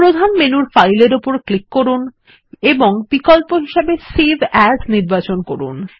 প্রধান মেনুর ফাইল এর উপর ক্লিক করুন এবং বিকল্প হিসাবে সেভ এএস নির্বাচন করুন